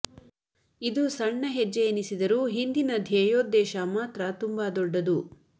ಇದು ಸಣ್ಣ ಹೆಜ್ಜೆ ಎನಿಸಿದರೂ ಹಿಂದಿನ ಧ್ಯೇಯೋದ್ದೇಶ ಮಾತ್ರ ತುಂಬ ದೊಡ್ಡದು